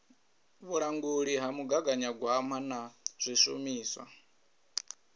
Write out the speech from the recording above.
vhulanguli ha mugaganyagwama na zwishumiswa